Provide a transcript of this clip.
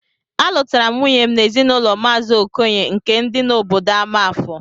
Alụtaram nwunyem n'ezinụlọ mazi okoye nke di na obodo amafor